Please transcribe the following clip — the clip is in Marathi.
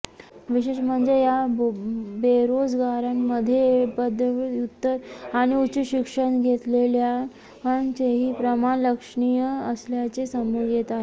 विशेष म्हणजे या बेरोजगारांमध्ये पदव्युत्तर आणि उच्चशिक्षण घेतलेल्यांचेही प्रमाण लक्षणीय असल्याचे समोर येत आहे